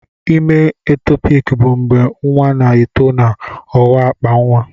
Ime etopik bụ mgbe nwa na-eto na ọwa akpa nwa.